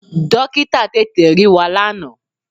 Dọ́kítà tètè rí wa lánàá.